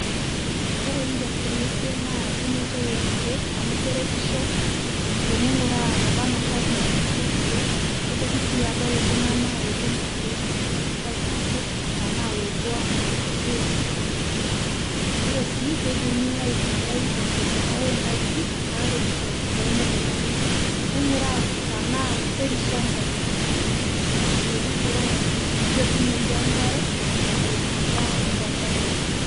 Kore industry ekwee naa unotoo elkeek amu keretishoo teneing'uraa nebanaa nkop naunitoi lkeek neitokii sii adol ltungana odung' lkeek aitaa nkuk tanaa lopuo amir meyeloo sirkalii, koree sii keidimii aitumiai tenshetataa enkajijik naretishoo tomukundanii neinguraa tanaa kerisoo nkop eshetishoi neinguraa sii yetunotoo enkaree ebulutaa ndaa tonkop.